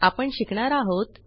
आपण शिकणार आहोत